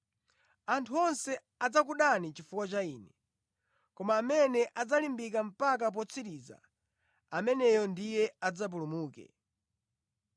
Anthu onse adzakudani chifukwa cha Ine, koma amene adzalimbika mpaka potsiriza, ameneyo ndiye adzapulumuke.